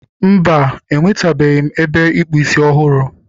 Mba, enwetabeghị m ebe ịkpụ isi ọhụrụ.